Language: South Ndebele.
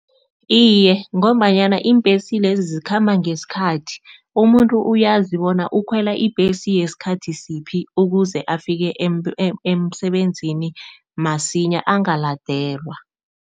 Iye, ngombanyana iimbesi lezi zikhamba ngesikhathi. Umuntu uyazi bona ukhwela ibhesi yesikhathi siphi ukuze afike emsebenzini masinya angaladelwa.